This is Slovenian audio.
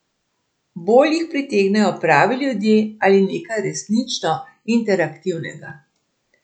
Bolj jih pritegnejo pravi ljudje ali nekaj resnično interaktivnega.